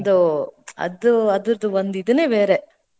ಅದೊಂದು ಅದ, ಅದ್ರದ್ ಒಂದ್ ಇದ್ನೇ ಬೇರೆ.